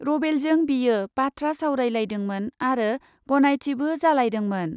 रभेलजों बियो बाथ्रा सावरायज्लायदोंमोन आरो गनायथिबो जालायदोंमोन ।